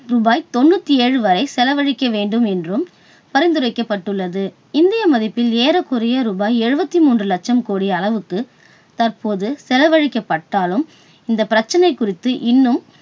ரூபாய் தொண்ணுத்தேழு வரை செலவழிக்க வேண்டும் என்றும் பரிந்துரைக்கப்பட்டுள்ளது. இந்திய மதிப்பில் ஏறக்குறைய ரூபாய் எழுபத்தி மூன்று கோடி லட்சம் அளவுக்கு தற்போது செலவழிக்கப் பட்டாலும், இந்த பிரச்சனை குறித்து இன்னும்